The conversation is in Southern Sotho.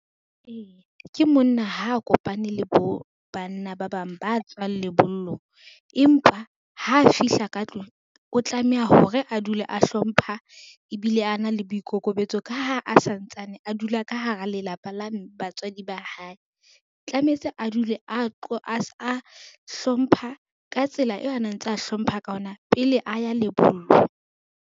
Eya ke monna ha a kopane le banna ba bang ba tswang lebollong, empa ha fihla ka tlung o tlameha hore a dule a hlompha ebile a na le boikokobetso, ka ha a santsane a dula ka hara lelapa la batswadi ba hae. Tlametse a dule a hlompha ka tsela eo a ntsa hlompha ka yona pele a ya lebollong.